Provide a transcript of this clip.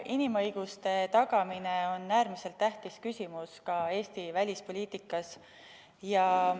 Inimõiguste tagamine on äärmiselt tähtis küsimus ka Eesti välispoliitikas.